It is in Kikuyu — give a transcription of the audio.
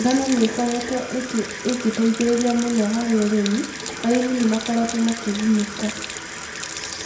Ngano nĩ ĩkoretwo ĩgĩteithĩrĩria mũno harĩ ũrĩmi, arĩmi nĩ makoretwo makĩgunĩka.